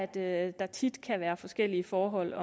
det er at der tit kan være forskellige forhold